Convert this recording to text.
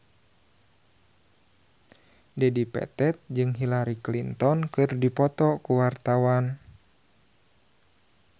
Dedi Petet jeung Hillary Clinton keur dipoto ku wartawan